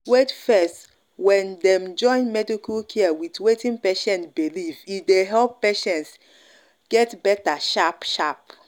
wait fess when dem join medical care with wetin person believe e dey help patients help patients get better sharp-sharp.